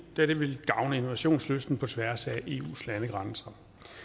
da det vil gavne innovationslysten på tværs af eus landegrænser